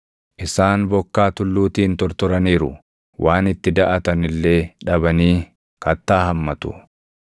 Isaan bokkaa tulluutiin tortoraniiru; waan itti daʼatan illee dhabanii kattaa hammatu.